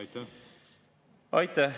Aitäh!